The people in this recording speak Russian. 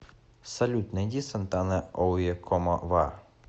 салют найди сантана ойе комо ва